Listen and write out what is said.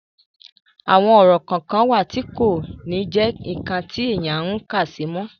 àwọn orò kan wà tí kò ní jẹ́ ǹkan tí èèyàn ń kàsí mọ́